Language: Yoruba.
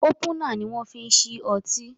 Ópúnà ni wọn fi ń ṣí ọtí